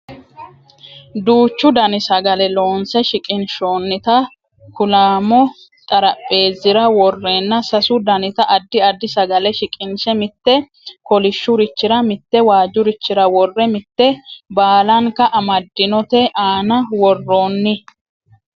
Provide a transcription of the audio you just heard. duuchu dani sagale loonse shiqinshoonnita kuulaamo xarapheezzira worreenna sasu danita addi addi sagale shiqinshe mitte kolishshurichira mitte waajjurichira worre mitte baalanka amaddinote aana worroonni